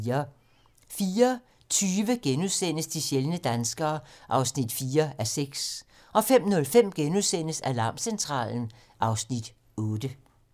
04:20: De sjældne danskere (4:6)* 05:05: Alarmcentralen (Afs. 8)*